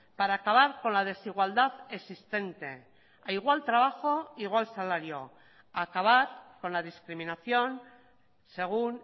para acabar con la desigualdad existente a igual trabajo igual salario acabar con la discriminación según